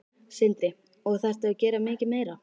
Sindri: Og þarftu að gera mikið meira?